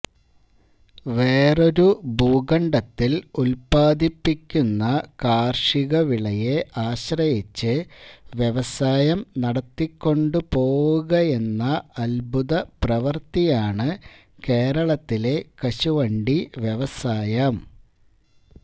വേറൊരു ഭൂഖണ്ഡത്തിൽ ഉത്പാദിപ്പിക്കുന്ന കാർഷികവിളയെ ആശ്രയിച്ച് വ്യവസായം നടത്തിക്കൊണ്ടുപോവുകയെന്ന അദ്ഭുത പ്രവൃത്തിയാണ് കേരളത്തിലെ കശുവണ്ടി വ്യവസായം